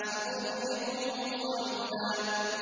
سَأُرْهِقُهُ صَعُودًا